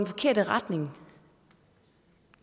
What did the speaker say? forkerte retning